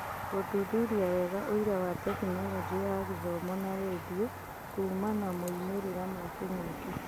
Gũthuthuria wega ũira wa Tekinoronjĩ ya Gĩthomo na rendio kuumana moimĩrĩra ma Kĩng'ũki